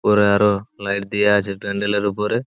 ওপরে আরো লাইট দিয়া আছে প্যান্ডেল -এর উপরে।